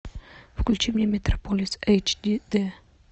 включи мне метрополис эйч ди дэ